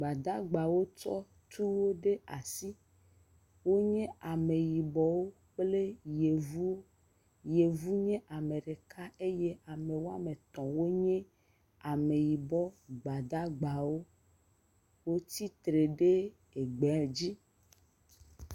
Gbadagbawo tsɔ tuwo ɖe asi. Wonye ameyibɔwo kple yevuwo. Yevu nye ame ɖeka eye ame wɔme etɔ̃ wonye ameyibɔ gbadagbawo. Wotsi tre ɖe egbe dzi.